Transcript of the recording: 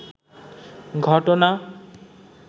ঘটনা